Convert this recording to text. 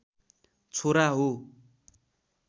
छोरा हो